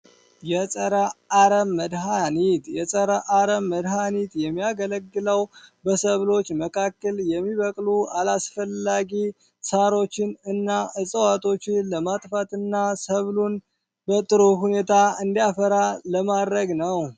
የአረም መድኃኒት የጸረ አረም መድሀኒት የሚያገለግለው በሰብሎች መካከል የሚበቅሉ አላስፈላጊ ሳሮችንና እጽዋቶችን ለማጥፋትና ሰብሉ በጥሩ ሁኔታ እንዲያፈራ ለማድረግ ነው።